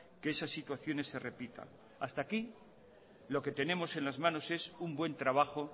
que esas situaciones se repitan hasta aquí lo que tenemos en las manos es un buen trabajo